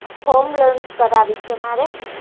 home loan કરાવી છે મારે